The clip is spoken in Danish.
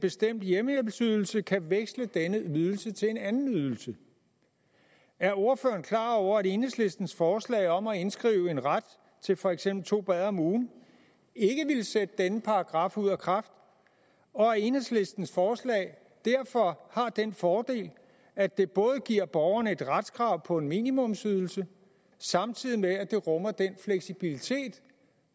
bestemt hjemmehjælpsydelse kan veksle denne ydelse til en anden ydelse er ordføreren klar over at enhedslistens forslag om at indskrive en ret til for eksempel to bade om ugen ikke ville sætte denne paragraf ud af kraft og at enhedslistens forslag derfor har den fordel at det giver borgeren et retskrav på en minimumsydelse samtidig med at det rummer den fleksibilitet